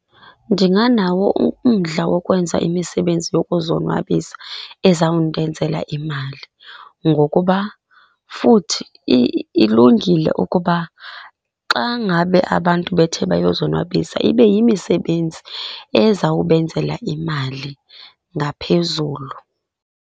Ndinganawo umdla wokwenza imisebenzi yokuzonwabisa ezawundenzela imali, ngokuba futhi ilungile ukuba xa ngabe abantu bethe bayozonwabisa ibe yimisebenzi ezawubenzela imali ngaphezulu.